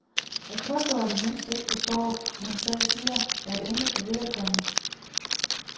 At påstå, at et menneske ikke forstår, hvad han selv siger, er et emne for viderekomne.